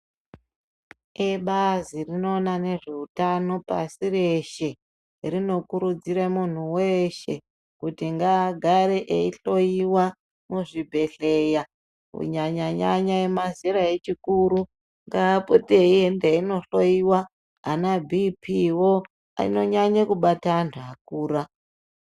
Ebazi rinoona nezveutano pasi reshe. Rinokurudzira munhu weshe kuti agare eyihloyiwa muzvibhedhleya kunyanya nyanya emazera echikuru. Ngaapote eienda einohliyiwa ana Bhiipii wo anonyanye kubate antu akura.